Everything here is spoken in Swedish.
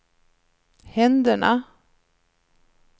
händerna